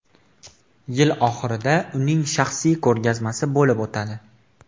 Yil oxirida uning shaxsiy ko‘rgazmasi bo‘lib o‘tadi.